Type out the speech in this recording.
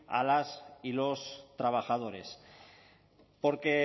a las y los trabajadores porque